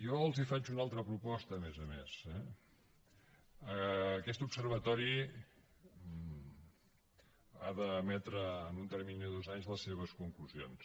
jo els faig una altra proposta a més a més eh aquest observatori ha d’emetre en un termini de dos anys les seves conclusions